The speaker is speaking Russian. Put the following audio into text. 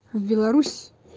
в беларусь